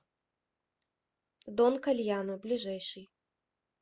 дон кальяно ближайший